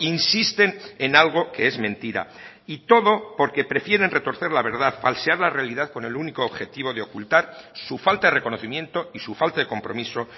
insisten en algo que es mentira y todo porque prefieren retorcer la verdad falsear la realidad con el único objetivo de ocultar su falta de reconocimiento y su falta de compromiso